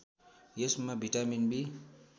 यसमा vitamin be